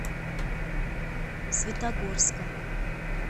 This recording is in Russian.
светогорска